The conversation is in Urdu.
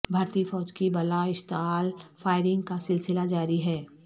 بھارتی فوج کی بلا اشتعال فائرنگ کا سلسلہ جاری ہے